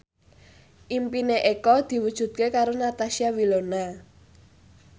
impine Eko diwujudke karo Natasha Wilona